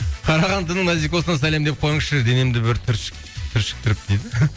қарағандының назикосына сәлем деп қойыңызшы денемді бір түршіктіріп дейді